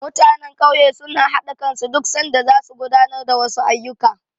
Mutanen ƙauye suna haɗa kansu duk sanda zasu gudanar da wasu ayyuka.